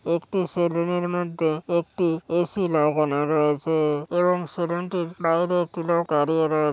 একটি সেলুন এর মধ্যে একটি এ.সি. লাগানো রয়েছে-এ এবং সেলুন টির বাইরে একটি লোক দাঁড়িয়ে রয়ে--